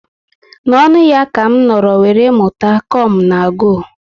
Na ọṅụ ya ka m nọrọ were mụta "come na go"